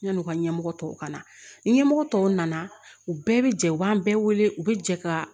Yan'u ka ɲɛmɔgɔ tɔw ka na ni ɲɛmɔgɔ tɔw nana u bɛɛ bɛ jɛ u b'an bɛɛ wele u bɛ jɛ ka